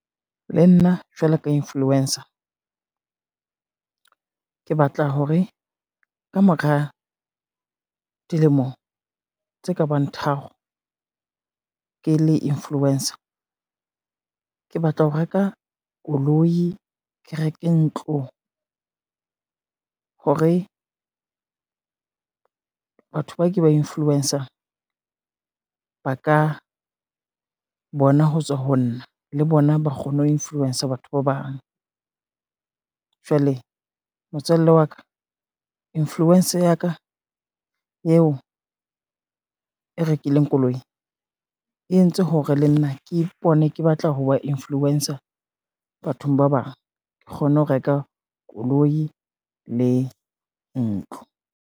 Le nna jwalo ka influencer, ke batla hore ka mora dilemo tse ka bang tharo ke le influencer, ke batla ho reka koloi, ke reke ntlo, hore batho ba ke ba influence-ang ba ka bona ho tswa ho nna, le bona ba kgone ho influencer batho ba bang. Jwale motswalle wa ka, influencer ya ka eo e rekileng koloi e entse hore le nna ke ipone ke batla ho ba influencer bathong ba bang, ke kgone ho reka koloi le ntlo.